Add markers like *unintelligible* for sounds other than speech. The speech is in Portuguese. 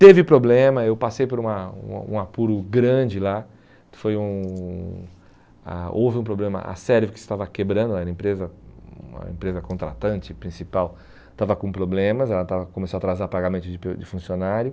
Teve problema, eu passei por uma uma um apuro grande lá, foi um ah houve um problema, a *unintelligible* estava quebrando, era uma empresa uma empresa contratante principal, estava com problemas, ela estava começou a atrasar pagamento de *unintelligible* de funcionário.